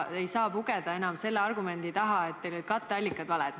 Ei saa enam pugeda selle argumendi taha, et katteallikas on vale.